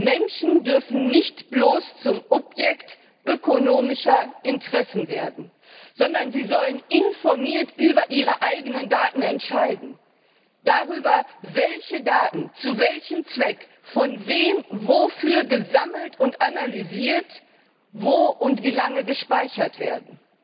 Menschen dürfen nicht bloß zum Objekt ökonomischer Interessen werden, sondern sie sollen informiert über ihre eigenen Daten entscheiden, darüber, welche Daten zu welchem Zweck von wem wofür gesammelt und analysiert und wo und wie lange gespeichert werden.